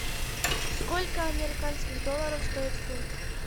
сколько американских долларов стоит фунт